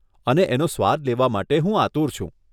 અને એનો સ્વાદ લેવા માટે હું આતુર છું.